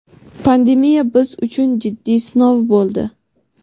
pandemiya biz uchun jiddiy sinov bo‘ldi.